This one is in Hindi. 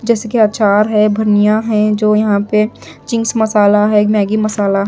जैसा कि अचार है बर्नियां है जो यहाँ पे चिंकस मसाला है एक मैगी मसाला--